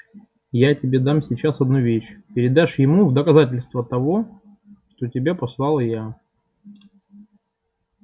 я тебе дам сейчас одну вещь передашь ему в доказательство того что тебя послала я